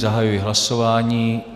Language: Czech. Zahajuji hlasování.